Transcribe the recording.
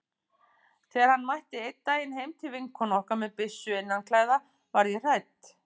Þegar hann mætti einn daginn heim til vinkonu okkar með byssu innanklæða varð ég hrædd.